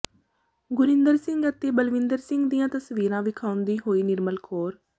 ਗੁਰਿੰਦਰ ਸਿੰਘ ਅਤੇ ਬਲਵਿੰਦਰ ਸਿੰਘ ਦੀਆਂ ਤਸਵੀਰਾਂ ਵਿਖਾਉਂਦੀ ਹੋਈ ਨਿਰਮਲ ਕੌਰ